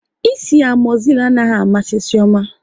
Ịsị amozil anaghị amasị Chioma